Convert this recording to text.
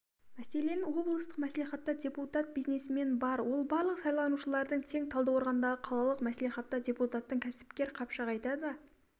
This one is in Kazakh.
мәселен облыстық мәслихатта депутат-бизнесмен бар ол барлық сайланушылардың тең талдықорғандағы қалалық мәслихатта депутаттың кәсіпкер қапшағайда да